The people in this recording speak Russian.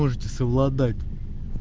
можете совладать